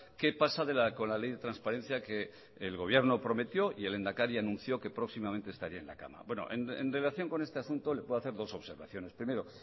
qué pasa con la ley de transparencia que el gobierno prometió y el lehendakari anunció que próximamente estaría en la cámara en relación con este asunto le puedo hacer dos observaciones primero